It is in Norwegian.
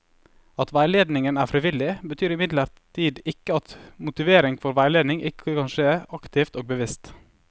At veiledningen er frivillig, betyr imidlertid ikke at motivering for veiledning ikke kan skje aktivt og bevisst.